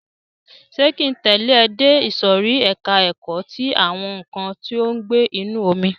Ṣé ki ń tẹ̀lẹ́ ẹ dé ìsòrí ẹka ẹ̀kọ́ ti àwọn nǹkan tí ó ń gbé inú omi?